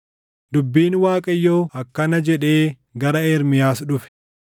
Dubbiin Waaqayyoo akkana jedhee gara Ermiyaas dhufe: